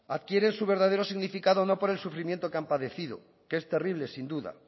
adquieren su verdadero significado no por el sufrimiento que han padecido que es terrible sin duda